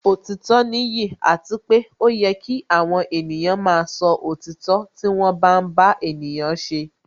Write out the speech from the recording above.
Òtítọ́ nìyí àti pé ó yẹ kí àwọn ènìyàn máa sọ òtítọ́ nígbà tí wọ́n bá ń bá ènìyàn ṣe